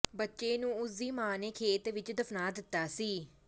ਬੱਚੇ ਨੂੰ ਉਸ ਦੀ ਮਾਂ ਨੇ ਖੇਤ ਵਿਚ ਦਫਨਾ ਦਿੱਤਾ ਸੀ